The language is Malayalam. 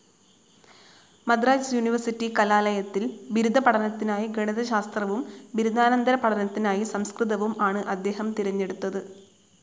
മദ്രാസ്‌ യൂണിവേഴ്സിറ്റി കലാലയത്തിൽ ബിരുദ പഠനത്തിനായി ഗണിത ശാസ്ത്രവും ബിരുദാനന്തര പഠനത്തിനായി സംസ്കൃതവും ആണ് അദ്ദേഹം തിരഞ്ഞെടുത്തത്.